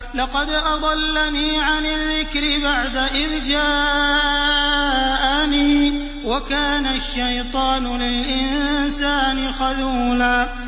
لَّقَدْ أَضَلَّنِي عَنِ الذِّكْرِ بَعْدَ إِذْ جَاءَنِي ۗ وَكَانَ الشَّيْطَانُ لِلْإِنسَانِ خَذُولًا